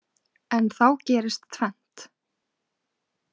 En þá gerist tvennt.